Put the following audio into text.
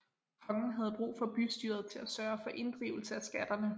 Kongen havde brug for bystyret til at sørge for inddrivelse af skatterne